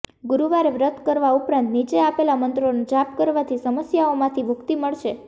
ગુરુવારે વ્રત કરવા ઉપરાંત નીચે આપેલા મંત્રોનો જાપ કરવાથી સમસ્યાઓમાંથી મુક્તિ મળશે